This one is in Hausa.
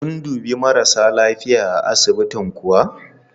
Sun dubi marasa lafiya a asibitin kuwa?